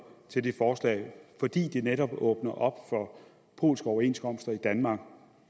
til det forslag fordi det netop åbner op for polske overenskomster i danmark